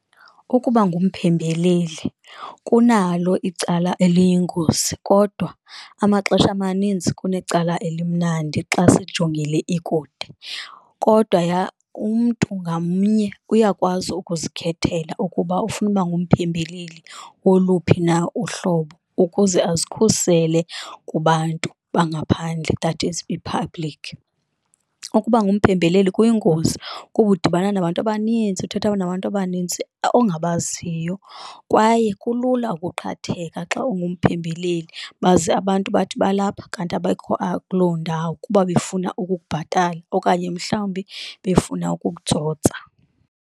Ukuba ngumphembeleli kunalo icala eliyingozi kodwa amaxesha amaninzi kunecala elimnandi xa siyijongile ikude, kodwa umntu ngamnye uyakwazi ukuzikhethela ukuba ufuna ukuba ngumphebeleli woluphi na uhlobo ukuze azikhusele kubantu bangaphandle that is kwi-public. Ukuba ngumphembeleli kuyingozi kuba udibana nabantu abanintsi, uthetha nabantu abanintsi ongabaziyo kwaye kulula ukuqhatheka xa ungumphembeleli baze abantu bathi balapha kanti abekho kuloo ndawo, kuba befuna ukukubhatala okanye mhlawumbi befuna ukukutsotsa.